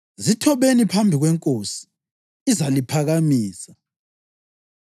Zithobeni phambi kweNkosi, izaliphakamisa.